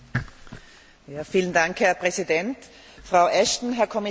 Herr Präsident, Frau Ashton, Herr Kommissar, meine Damen und Herren!